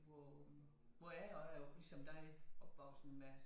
Hvor hvor jeg er også ligesom dig opvokset med